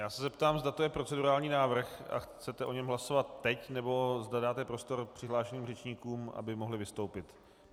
Já se zeptám, zda to je procedurální návrh a chcete o něm hlasovat teď, nebo zda dáte prostor přihlášeným řečníkům, aby mohli vystoupit.